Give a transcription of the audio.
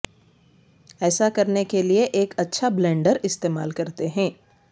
ایسا کرنے کے لئے ایک اچھا بلینڈر استعمال کرتے ہیں